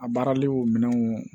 A baarali o minɛnw